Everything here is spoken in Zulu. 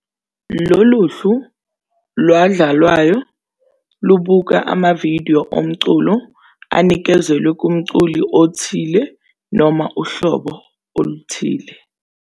Lolu hlu lwadlalwayo lubuka amavidiyo omculo anikezelwe kumculi othile noma uhlobo oluthile.